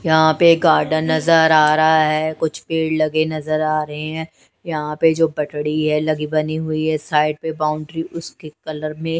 यहां पे गार्डन नजर आ रहा है कुछ पेड़ लगे नजर आ रहे हैं यहां पे जो पटरी है लगी बनी हुई है साइड में बाउंड्री उसके कलर में--